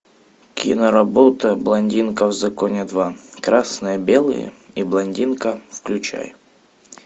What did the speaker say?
киноработа блондинка в законе два красное белое и блондинка включай